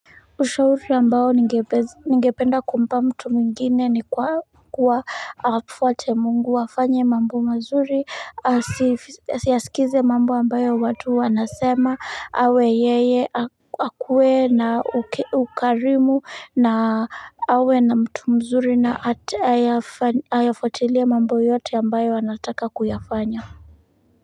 Ushauri ambao ningepez ningependa kumpa mtu mwingine ni kwa kuwa afuate Mungu afanye mambo mazuri asif asiyaskize mambo ambayo watu wanasema awe yeye ak akuwe na uk ukarimu na awe na mtu mzuri na ata atayafuatilie mambo yote ambayo anataka kuyafanya.